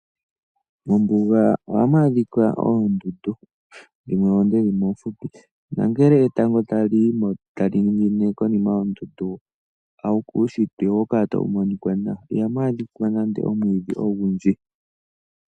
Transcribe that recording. Mombunga ohamwaadhika oondundu dhimwe oonde, dhimwe oofupi nangele etango tali ningine konima yoondundu uushitwe ohawu kala tawu monika nawa. Moondundu ihamwaadhika nande oomwidhi ogundji.